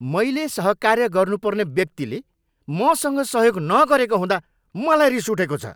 मैले सहकार्य गर्नुपर्ने व्यक्तिले मसँग सहयोग नगरेको हुँदा मलाई रिस उठेको छ।